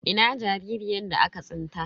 Ina jaririyar da aka tsinta?